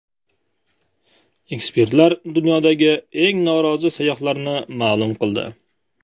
Ekspertlar dunyodagi eng norozi sayyohlarni ma’lum qildi.